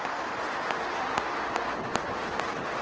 Það hentaði honum vel.